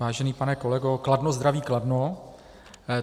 Vážený pane kolego, Kladno zdraví Kladno.